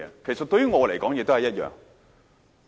其實，對於我來說，也是一樣。